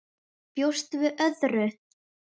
Bjóstu við öðru?